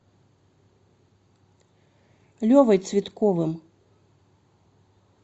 левой цветковым